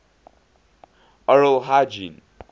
oral hygiene